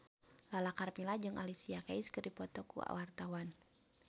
Lala Karmela jeung Alicia Keys keur dipoto ku wartawan